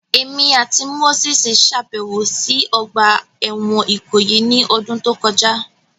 Emi ati Moses ṣabẹwo si ogba ẹwọn Ikoyi ni ọdun to kọja